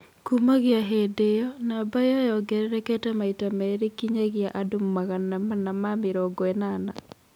Kuumagia hĩndĩ ĩyo, namba ĩyo yongererekete maita merĩ kinyagia andũ magana mana ma mĩrongo ĩnana.